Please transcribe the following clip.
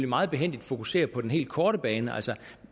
meget behændigt fokuserer på den helt korte bane altså